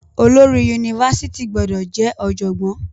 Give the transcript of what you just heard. Olórí yunifásítì gbọdọ jẹ ọjọgbọn.